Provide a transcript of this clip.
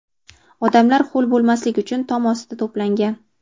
Odamlar ho‘l bo‘lmaslik uchun tom ostida to‘plangan.